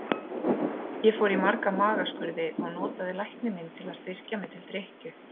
Ég fór í marga magaskurði og notaði lækni minn til að styrkja mig til drykkju.